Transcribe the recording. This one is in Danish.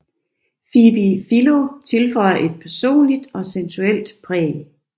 Phoebe Philo tilføjer et personligt og sensuelt præg